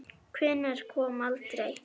Hvenær kom aldrei.